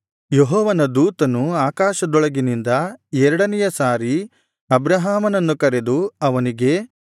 ಯೆಹೋವನ ದೂತನು ಆಕಾಶದೊಳಗಿನಿಂದ ಎರಡನೆಯ ಸಾರಿ ಅಬ್ರಹಾಮನನ್ನು ಕರೆದು ಅವನಿಗೆ